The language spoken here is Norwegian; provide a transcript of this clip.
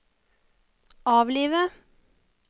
avlive